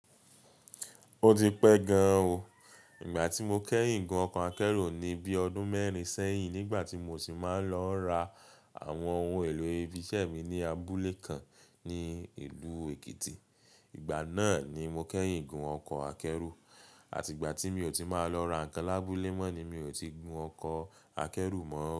O ti pẹ́ gan an o. Ìgbà tí mo kẹ́yìn gún ọkọ̀ akẹ́rù ni bíi ọdún mẹ́rin sẹ́yìn nígbà tí mo sì máa ń lọ ra àwọn ohun èlò ibi iṣẹ́ mi ní abúlé kan ní ìlú Èkìtì. Ìgbà náà ni mo kẹ́yìn gún ọkọ̀ akẹ́rù. Àti ìgbà tí mi ò tí máa lọ ra nǹkan lábúlé mọ́ ni mi ò tí gún ọkọ̀ akẹ́rù mọ́.